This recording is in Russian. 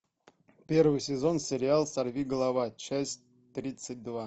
первый сезон сериал сорви голова часть тридцать два